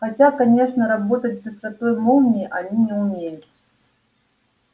хотя конечно работать с быстротой молнии они не умеют